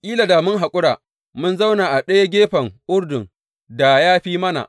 Kila da mun haƙura mun zauna a ɗaya gefen Urdun da ya fi mana!